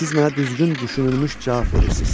Siz mənə düzgün düşünülmüş cavab verirsiz.